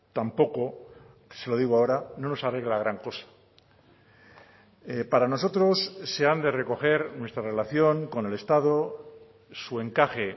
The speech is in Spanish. tampoco se lo digo ahora no nos arregla gran cosa para nosotros se han de recoger nuestra relación con el estado su encaje